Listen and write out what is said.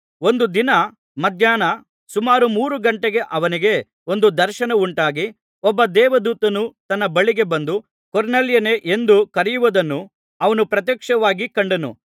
ಒಂದು ದಿನ ಮಧ್ಯಾಹ್ನ ಸುಮಾರು ಮೂರು ಘಂಟೆಗೆ ಅವನಿಗೆ ಒಂದು ದರ್ಶನ ಉಂಟಾಗಿ ಒಬ್ಬ ದೇವದೂತನು ತನ್ನ ಬಳಿಗೆ ಬಂದು ಕೊರ್ನೆಲ್ಯನೇ ಎಂದು ಕರೆಯುವುದನ್ನು ಅವನು ಪ್ರತ್ಯಕ್ಷವಾಗಿ ಕಂಡನು